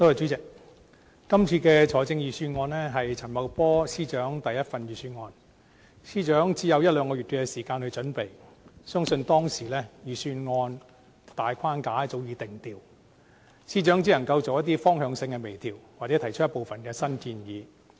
主席，今次的財政預算案是陳茂波司長的第一份預算案，司長只有一兩個月時間準備，相信當時預算案的大框架早已定調，司長只能夠作一些方向性的微調，或提出部分新建議。